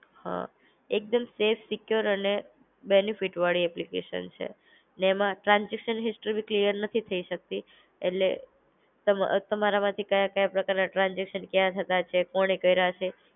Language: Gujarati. હ એક દમ સફે સિકયોર અને બેનેફિટ વાળી એપ્લિકેશન છે. ને એમાં ટ્રાન્સઝેકશન હિસ્ટ્રી બી ક્લીયર નથી થઇ શકતી. એટલે તમ તમારા માંથી કયા કયા પ્રકારના ટ્રાન્સઝેકશન ક્યાં થતા છે કોણે કૈરા છે.